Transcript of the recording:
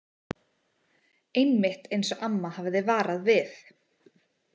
Einmitt eins og amma hafði varað við.